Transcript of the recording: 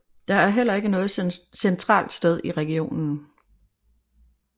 Der er heller ikke noget centralt sted i regionen